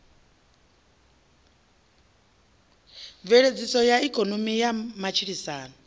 mveledziso ya ikonomi na matshilisano